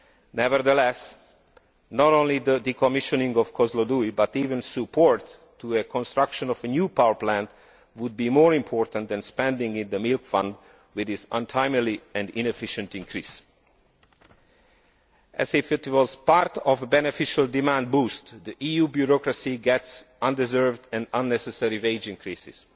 Nevertheless, not only the decommissioning of Kozloduy, but even support for the construction of a new power plant, would be more important than spending in the milk fund with this untimely and inefficient increase. As if it were part of a beneficial demand boost, the EU bureaucracy gets undeserved and unnecessary wage increases.